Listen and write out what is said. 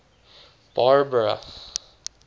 barbara